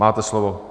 Máte slovo.